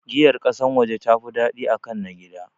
Giyar ƙasan waje tafi daɗi akan na gida